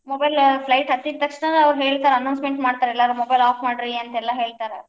Mobile flight ಹತ್ತಿದ್ ತಕ್ಷಣ ಹೇಳ್ತಾರ್ announcement ಮಾಡ್ತರ್, ಎಲ್ಲರೂ mobile off ಮಾಡ್ರಿ ಅಂತೆಲ್ಲ ಹೇಳ್ತಾರ.